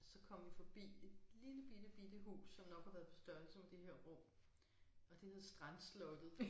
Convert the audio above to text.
Så kom vi forbi et lillebittebitte hus som nok har været på størrelse med det her rum og det hed Strandslottet